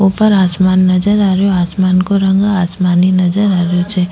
ऊपर आसमान नजर आ रहियो आसमान को रंग आसमानी नजर आ रहियो छे।